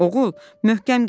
Oğul, möhkəm geyin.